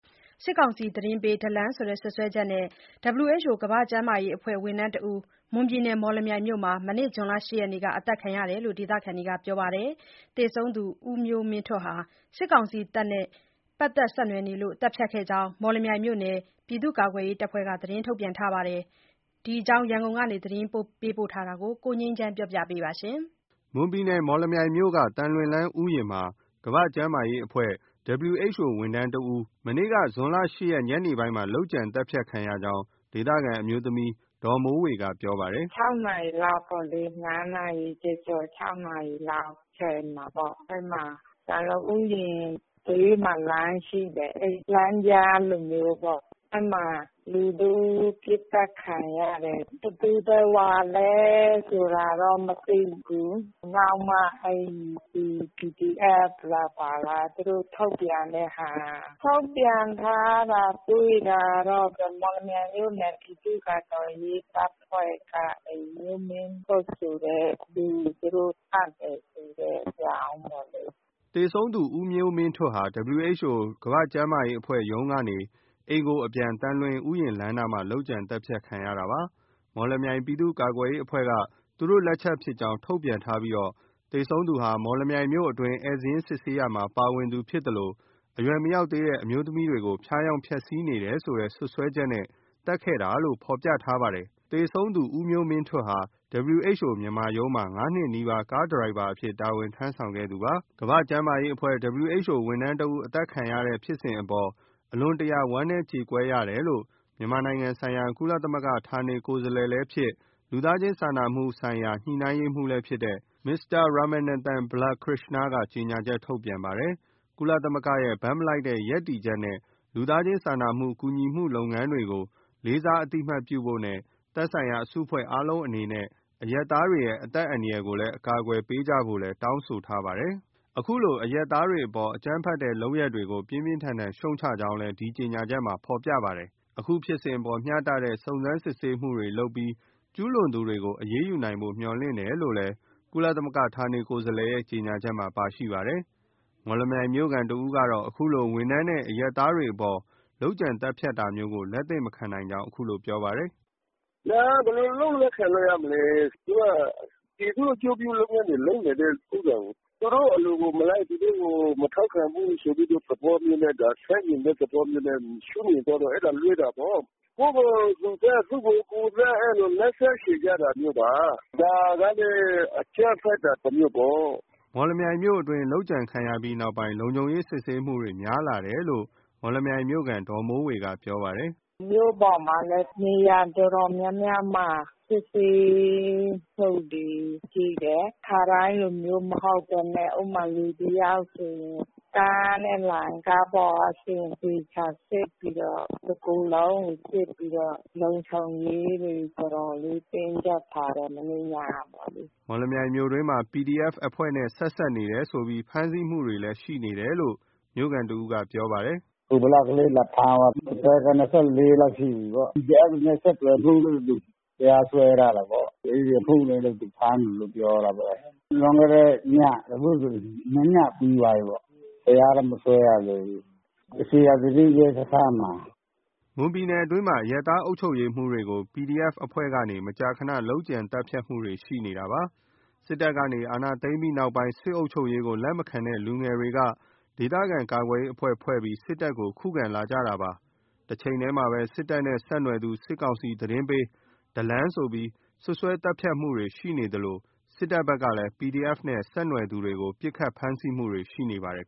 စစ်ကောင်စီသတင်းပေး “ဒလံ” လို့ စွပ်စွဲချက်နဲ့ WHO ကမ္ဘာ့ကျန်းမာရေးအဖွဲ့ဝန်ထမ်းတဦး မွန်ပြည်နယ်မော်လမြိုင်မြို့မှာ မနေ့ ဇွန်လ ရက်နေ့က အသတ်ခံရတယ်လို့ ဒေသခံတွေကပြောပါတယ်။ သေဆုံးသူဦးမျိုးမင်းထွဋ်ဟာ စစ်ကောင်စီတပ်နဲ့ ပက်သက်ဆက်နွယ်နေလို့သတ်ဖြတ်ခဲ့ကြောင်း မော်လမြိုင်မြို့နယ် ပြည်သူ့ကာကွယ်ရေးတပ်ဖွဲ့ကနေ သတင်းထုတ်ပြန်ထားပါတယ်။ ရန်ကုန်က ဒီသတင်း စုံစမ်းပေးပို့ထားတာ ကိုငြိမ်းချမ်းက တင်ပြပေးထားပါတယ်။ မွန်ပြည်နယ်မော်လမြိုင်မြို့ အတွင်းသံလွင်ဥယျာဉ်လမ်းမှာ ကမ္ဘာ့ကျန်းမာရေးအဖွဲ့အစည်း WHO ဝန်ထမ်းတဦး မနေ့ ဇွန်လ ရက် နေ့ညနေပိုင်းမှာ လုပ်ကြံသတ်ဖြတ်ခံရကြောင်း ဒေသခံအမျိုးသမီး ဒေါ်မိုးဝေကပြောပါတယ်။ နာရီလောက်ပေါ့လေ။ နာရီကျော်ကျော် နာရီလောက်အချိန်မှာပေါ့။ အဲဒီမှာ သံလွင်ဥယာဉ်ဘေးမှာလမ်းရှိတယ်။ အဲဒီ လမ်းကြားလိုမျိုးပေါ့။ အဲဒီမှာ လူတဦးပစ်သတ်ခံရတယ်။ ဘယ်သူဘယ်ဝါဆိုလဲ မသိဘူး။ နောက်မှ ဒီ PDF လား၊ ဘာလား သူတို့ ထုတ်ပြန်ထားတာတွေ့တာတော့ မော်လမြိုင်မြို့နယ် ပြည်သူ့ကာကွယ်ရေးတပ်ဖွဲ့က အဲဒီ မျိုးမင်းထွဋ်ဆိုတဲ့သူ သူတို့ သတ်တာဆိုတဲ့အကြောင်းပေါ့လေ။’’ သေဆုံးသူ ဦးမျိုးမင်းထွဋ်ဟာ WHO ရုံးကနေ အိမ်အပြန် သံလွင်ဥယျာဉ်လမ်းနားမှာ လုပ်ကြံသတ်ဖြတ်ခံရတာပါ။ မော်လမြိုင်ပြည်သူ့ကာကွယ်ရေးအဖွဲ့က သူတို့ လက်ချက်ဖြစ်ကြောင်း ထုတ်ပြန်ထားပြီး သေဆုံးသူဟာ မော်လမြိုင်မြို့အတွင်း ဧည့်စာရင်းစစ်ဆေးရာမှာ ပါဝင်သူဖြစ်သလို အရွယ်မရောက်သေးတဲ့ အမျိုးသမီးတွေကို ဖျားယောင်းဖျက်စီးနေတယ်ဆိုတဲ့စွပ်စွဲချက်နဲ့ သတ်ခဲ့တာလို့ ဖော်ပြထားပါတယ်။ သေဆုံးသူဦးမျိုးမင်းထွဋ်ဟာ WHO မြန်မာရုံးမှာ ၅ နှစ်နီးပါး ကားဒရိုင်ဘာအဖြစ် တာဝန်ထမ်းဆောင်ခဲ့သူဖြစ်ပါတယ်။ ကမ္ဘာ့ကျန်းမာရေးအဖွဲ့အစည်း ဝန်ထမ်းတဦးအသတ်ခံရတဲ့ဖြစ်စဉ်အပေါ် အလွန်တရာဝမ်းနည်းကြေကွဲရတယ်လို့ မြန်မာနိုင်ငံဆိုင်ရာ ကုလသမဂ္ဂဌာနေကိုယ်စားလှယ်ဖြစ်၊ လူသားချင်းစာနာမှုဆိုင်ရာ ညှိုနှိုင်းရေးမျုးလည်းဖြစ်သူ Mr. Ramanathan Balakrishnan က ကြေညာချက်ထုတ်ပါတယ်။ ကုလသမဂ္ဂရဲ့ဘက်မလိုက်တဲ့ရပ်တည်ချက်နဲ့ လူသားချင်းစာနာကူညီမှုလုပ်ငန်းတွေကို လေးစားအသိအမှတ်ပြုဖို့နဲ့ သက်ဆိုင်ရာအစုအဖွဲ့အားလုံးအနေနဲ့ အရပ်သားတွေရဲ့အသက်အန္တရာယ်ကို အကာအကွယ်ပေးကြဖို့လည်း တောင်းဆိုထားပါတယ်။ အခုလို အရပ်သားတွေအပေါ် အကြမ်းဖက်တဲ့လုပ်ရပ်တွေကို ပြင်းပြင်းထန် ထန်ရှုတ်ချကြောင်းလည်း ဒီ ထုတ်ပြန်ချက်မှာဖော်ပြပါတယ်။ အခု ဖြစ်စဉ်အပေါ် မျှတတဲ့ စုံစမ်းစစ်ဆေးမှုလုပ်ပြီး ကျူးလွန်သူတွေကို အရေးယူနိုင်ဖို့ မျှော်လင့်တယ်လို့လည်း ကုလ ဌာနကိုယ်စားလှယ် ကြေညာချက်မှာပါရှိပါတယ်။ မော်လမြိုင်မြို့ခံတဦးကတော့ အခုလို ဝန်ထမ်းနဲ့အရပ်သားတွေအပေါ် လုပ်ကြံသတ်ဖြတ်မှုမျိုးကို လက်သင့်မခံနိုင်ကြောင်း ပြောပါတယ်။ “ဘယ်လိုလုပ်လက်ခံလို့ရမလဲ။ သူက ပြည်သူ့အကျိုးပြုလုပ်ငန်းလုပ်နေတဲ့ဥစ္စာကို။ သူတို့အလိုကိုမလိုက်၊ သူတို့ကိုမထောက်ခံ ဘူးဆိုတဲ့သဘောမျိုးနဲ့ ဆန့်ကျင်တဲ့သဘောမျိုးနဲ့ရှုမြင်သွားတာ။ အဲဒါ လွဲတာပေါ့။ ကိုယ့်ကိုသူသတ်၊ သူ့ကိုကိုယ်သတ်- အဲဒီလို လက်စားချေကြတာမျိုးပါ။ ဒါကလည်း အကြမ်းဖက်တာတမျိုးပေါ့။’’ မော်လမြိုင်မြို့အတွင်း လုပ်ကြံခံရပြီးနောက်ပိုင်း လုံခြုံရေးစစ်ဆေးမှုတွေများလာတယ်လို့ အဆိုပါမော်လမြိုင်မြို့ခံ ဒေါ်မိုးဝေ ကပြောပါတယ်။ “မြို့ပေါ်မှာလည်း နေရာတော်တော်များများမှာ စစ်ဆေးမှုတွေရှိတယ်။ ခါတိုင်းလိုမျိုးမဟုတ်ဘဲနဲ့ဥပမာ လူတယောက်ဆိုရင် ကားနဲ့လာရင် ကားပေါ်ကဆင်း အသေချာစစ်ပြီးတော့ တကိုယ်လုံးကိုစစ်ပြီးတော့ လုံခြုံရေးကို တော်တော်လေးတင်းကြပ် ထားတယ်။ မနေ့ညကပေါ့လေ။ ’’ မော်လမြိုင်မြို့တွင်းမှာလဲ PDF အဖွဲ့နဲ့ဆက်စပ်နေတယ်ဆိုပြီး ဖမ်းဆီးမှုတွေရှိနေတယ်လို့ မြို့ခံတဦးကပြောပါတယ်။ “ကိုဗလကလေး လာဖမ်းသွားတယ်။အသက်က လောက်ရှိပြီပေါ့။ PDF တွေနဲ့ဆက်သွယ်မှုလို့ တရားစွဲထားတာပေါ့။ အဲဒီအမှုနဲ့ သူ့ကိုဖမ်းထားတယ်လို့ပြောတာပဲ။ လွန်ခဲ့တဲ့ည အခုဆို နှစ်ညပြီးသွားပြီပေါ့။ တရားလည်း မစွဲရသေးဘူး။ ဇေယျာသီရိရဲစခန်းမှာ။’’ မွန်ပြည်နယ်အတွင်းမှာ အရပ်သားအုပ်ချုပ်ရေးမှူးတွေကို PDF အဖွဲ့တွေကနေ မကြာခန လုပ်ကြံသတ်ဖြတ်မှုတွေရှိနေတာပါ။ စစ်တပ်ကနေ အာဏာသိမ်းပြီးနောက်ပိုင်း စစ်အုပ်ချုပ်ရေးကိုလက်မခံတဲ့လူငယ်တွေကနေ ဒေသခံကာကွယ်ရေး အဖွဲ့ ဖွဲ့ပြီးတော့ စစ်တပ်ကိုခုခံလာခဲ့ကြပါတယ်။ တချိန်တည်းမှာပဲ စစ်တပ်နဲ့ဆက်နွယ်သူ၊ စစ်ကောင်စီသတင်းပေး “ဒလံ” ဆိုပြီး စွပ်စွဲသတ်ဖြတ်မှုတွေရှိနေသလို စစ်တပ်ဘက်ကလည်း PDF နဲ့ဆက်နွယ်သူတွေကို ပစ်ခတ်ဖမ်းဆီးမှုတွေရှိနေပါတယ်